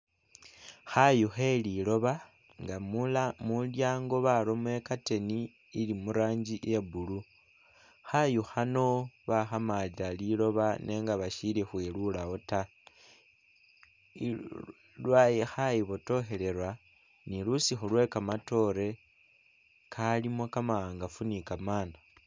Khayuu kheliloba nga mula mulyango baramo i'curtain ili murangi iya blue, khayu khano bakhamalila liloba nenga bashili khwilulawo taa khayubotokhelela ni lusukhu lwekamatoore kalimo kama'angafu ni kamana